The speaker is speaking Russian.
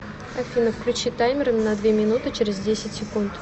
афина включи таймер на две минуты через десять секунд